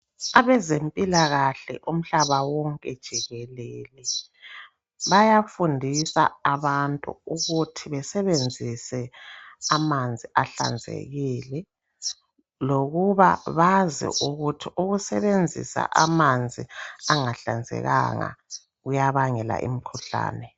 Abezempilakahle umhlaba wonke jikelele bayafundisa abantu ukuthi besebenzise amanzi ahlanzekile .Lokuba bazi ukuthi ukusebenzisa amanzi angahlanzekanga kuyabangela imkhuhlane